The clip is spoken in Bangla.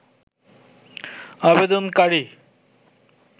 আবেদনকারী